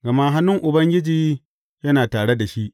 Gama hannun Ubangiji yana tare da shi.